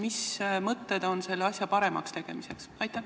Mis mõtteid on selle asja paremaks tegemiseks?